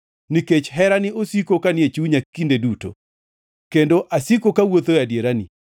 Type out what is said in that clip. nikech herani osiko kanie chunya kinde duto, kendo asiko kawuotho e adierani.